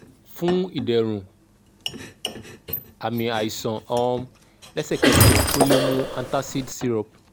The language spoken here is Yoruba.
fun iderun aami aisan um lẹsẹkẹsẹ o le mu antacid syrup